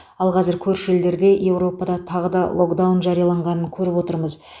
ал қазір көрші елдерде еуропада тағы да локдаун жарияланғанын көріп отырмыз